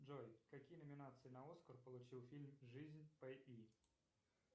джой какие номинации на оскар получил фильм жизнь пи